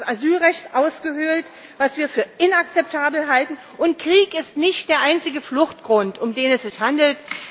Damit wird das Asylrecht ausgehöhlt was wir für inakzeptabel halten und Krieg ist nicht der einzige Fluchtgrund, um den es sich handelt.